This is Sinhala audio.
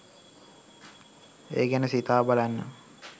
ඒ ගැන සිතා බලන්න